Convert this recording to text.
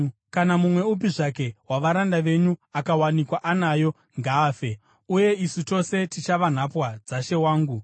Kana mumwe upi zvake wavaranda venyu akawanikwa anayo, ngaafe; uye isu tose tichava nhapwa dzashe wangu.”